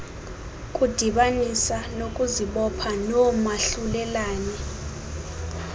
kudibanisa ngokuzibopha noomahlulelane